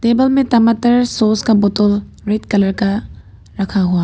Table में टमाटर sauce का बोतल रेड कलर का रखा हुआ है।